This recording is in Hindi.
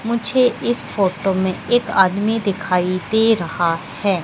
मुझे इस फोटो में एक आदमी दिखाई दे रहा है।